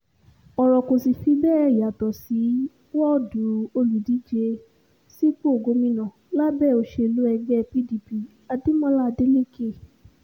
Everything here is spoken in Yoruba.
ọ̀rọ̀ kò sì fi bẹ́ẹ̀ yàtọ̀ ní wọ́ọ̀dù olùdíje sípò gómìnà lábẹ́ òṣèlú ẹgbẹ́ pdp adémọlá adeleke